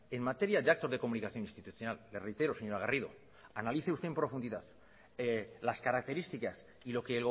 en materia de actos de comunicación institucional le reitero señora garrido analice usted en profundidad las características y lo que